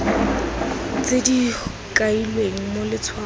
tse di kailweng mo letshwaong